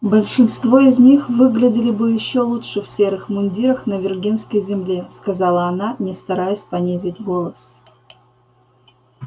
большинство из них выглядели бы ещё лучше в серых мундирах на виргинской земле сказала она не стараясь понизить голос